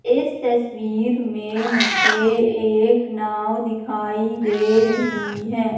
इस तस्वीर में मुझे एक नाव दिखाई दे रही है।